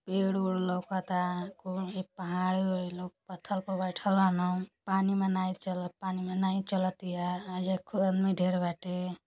पेड़ ओड लउकता। कुल पहाड़ उहड़ पथल पे बइठल बाडन। पानी में नाइ चल पानी में नाइ चलतिया। एको आदमी ढेर बाटे।